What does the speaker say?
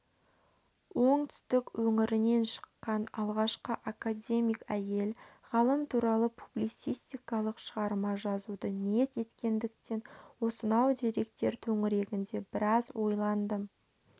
оңтүстік өңірінен шыққан алғашқы академик әйел ғалым туралы публицистикалық шығарма жазуды ниет еткендіктен осынау деректер төңірегінде біраз ойландым